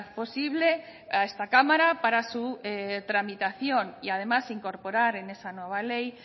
posible a esta cámara para su tramitación y además incorporar en esa nueva ley